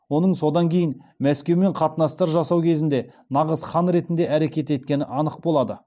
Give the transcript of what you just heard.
оның содан кейін мәскеумен қатынастар жасау кезінде нағыз хан ретінде әрекет еткені анық болады